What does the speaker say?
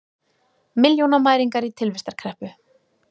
Milljónamæringar í tilvistarkreppu